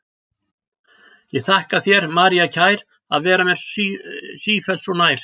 Ég þakka þér, María kær, að vera mér sífellt svo nær.